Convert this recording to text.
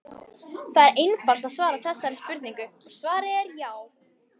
Það er einfalt að svara þessari spurningu og svarið er já!